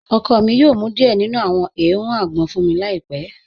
Ọkọ mi yoo mú díẹ̀ nínu àwọn èèrùn àgbọn fun mi láípẹ̀